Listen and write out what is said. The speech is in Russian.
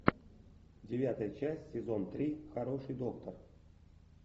девятая часть сезон три хороший доктор